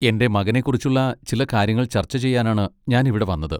എന്റെ മകനെക്കുറിച്ചുള്ള ചില കാര്യങ്ങൾ ചർച്ച ചെയ്യാനാണ് ഞാൻ ഇവിടെ വന്നത്.